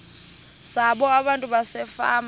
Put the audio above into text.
zabo abantu basefama